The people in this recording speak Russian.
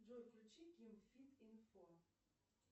джой включи ким фит инфо